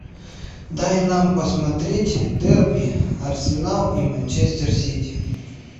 дай нам посмотреть дерби арсенал и манчестер сити